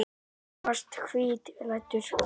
Þú varst hvítklæddur þá.